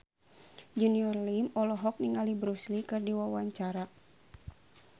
Junior Liem olohok ningali Bruce Lee keur diwawancara